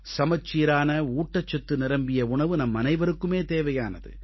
சமச்சீரான ஊட்டச்சத்து நிரம்பிய உணவு நம்மனைவருக்குமே தேவையானது